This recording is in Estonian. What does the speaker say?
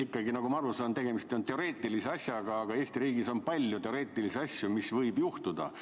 Ikkagi, nagu ma aru saan, on tegemist teoreetilise asjaga, aga Eesti riigis on palju teoreetilisi asju, mis võivad juhtuda.